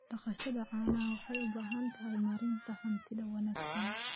Dhaqashada caanaha waxay u baahan tahay maaraynta hantida wanaagsan.